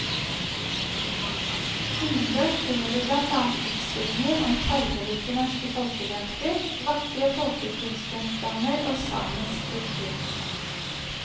Innendørs finner du blant annet utstillinger om farverike norske folkedrakter, vakre folkekunstgjenstander og samisk kultur.